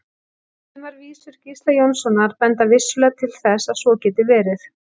Sumar vísur Gísla Jónssonar benda vissulega til þess að svo geti verið.